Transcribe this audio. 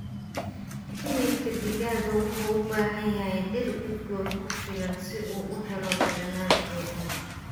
Hilibka digaaga wuxuu u baahan yahay dhir udgoon ku filan si uu u helo dhadhan fiican.